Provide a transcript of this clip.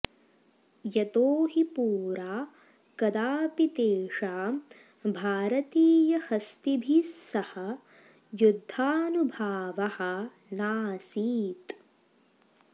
यतो हि पुरा कदापि तेषां भारतीयहस्तिभिस्सह युद्धानुभवः नासीत्